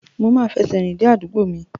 Mo máa fẹsẹ̀ rìn dé àdúgbò mi.